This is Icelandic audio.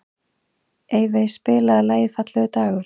Evey, spilaðu lagið „Fallegur dagur“.